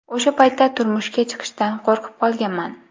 O‘sha paytda turmushga chiqishdan qo‘rqib qolganman.